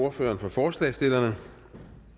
ordføreren for forslagsstillerne